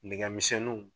Nɛgɛmisɛnninw